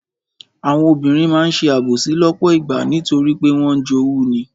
Àwọn obìnrin máa ń ṣe àbòsí lọ́pọ̀ ìgbà nítorí pé wọ́n ń jowú ni.